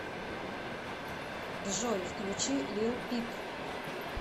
джой включи лил пип